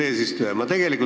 Hea ettekandja!